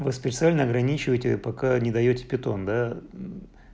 вы специально ограничиваете пока не даёте питон да